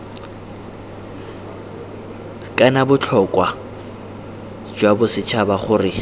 kana botlhokwa jwa bosetšhaba gore